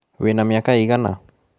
Wĩ na mĩaka igana?